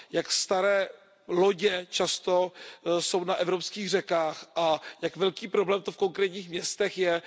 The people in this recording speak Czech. Jak staré lodě často jsou na evropských řekách a jak velký problém to v konkrétních městech je.